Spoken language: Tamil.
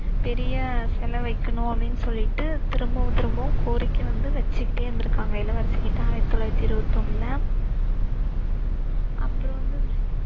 பெரிய சிலை வைக்கணும் அப்படின்னு சொல்லிட்டு திரும்பவும் திரும்பவும் கோரிக்கை வந்து வச்சுகிட்டே இருந்துருக்காங்க இளவரசி கிட்ட ஆயிரத்தி தொள்ளாயித்தி இருவத்தி ஒண்ணுல அப்பறம் வந்து